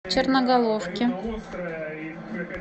черноголовке